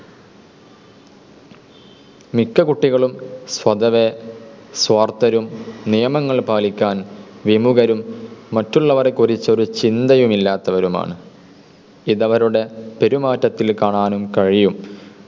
മിക്ക കുട്ടികളും സ്വതവേ, സ്വാർത്ഥരും, നിയമങ്ങൾ പാലിക്കാൻ വിമുഖരും, മറ്റുള്ളവരെക്കുറിച്ച് ഒരു ചിന്തയും ഇല്ലാത്തവരുമാണ്. ഇതവരുടെ പെരുമാറ്റത്തിൽ കാണാനും കഴിയും.